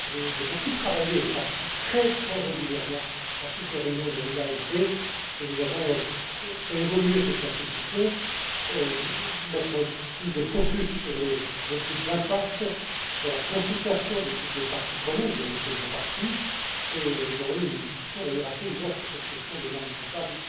J'ai beaucoup travaillé et je participe très régulièrement à toutes les réunions de l'IASB, et nous avons fait évoluer cette institution, pour mettre plus de focus sur les études d'impact, sur la consultation de toutes les parties prenantes, dont nous faisons partie, et nous avons eu une discussion d'ailleurs assez ouverte sur cette question des normes comptables